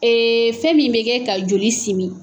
fɛn min bɛ kɛ ka joli si min.